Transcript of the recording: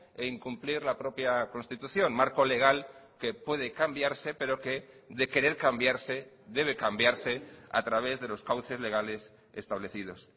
e incumplir la propia constitución marco legal que puede cambiarse pero que de querer cambiarse debe cambiarse a través de los cauces legales establecidos